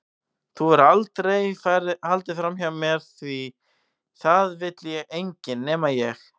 Þú hefur aldrei haldið framhjá mér því það vill þig enginn- nema ég.